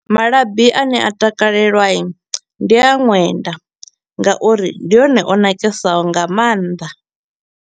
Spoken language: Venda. Malabi a ne a takalelwa i, ndi a ṅwenda nga uri ndi one o nakesaho nga maanḓa.